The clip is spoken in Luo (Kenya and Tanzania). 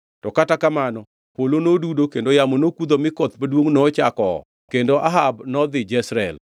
To kata kamano polo nodudo kendo yamo nokudho mi koth maduongʼ nochako oo kendo Ahab nodhi Jezreel.